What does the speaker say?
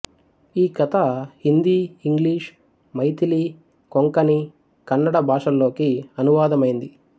ఈ కథ హిందీ ఇంగ్లీషు మైథిలి కొంకణి కన్నడ భాషల్లోకి అనువాదమైంది